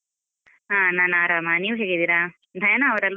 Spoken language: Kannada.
ಹ ನಾನ್ ಆರಾಮ, ನೀವ್ ಹೇಗಿದ್ದೀರಾ? ಡಯಾನಾ ಅವ್ರು ಅಲ್ವ?